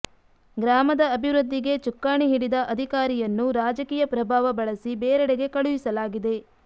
ಗ್ರಾಮದ ಅಭಿವೃದ್ಧಿಗೆ ಚುಕ್ಕಾಣಿ ಹಿಡಿದ ಅಧಿಕಾರಿಯನ್ನು ರಾಜಕೀಯ ಪ್ರಭಾವ ಬಳಸಿ ಬೇರೆಡೆಗೆ ಕಳುಹಿಸಲಾಗಿದೆ